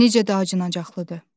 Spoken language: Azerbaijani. Necə də acınacaqlıdır.